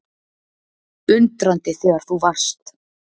Undrandi þegar þú varst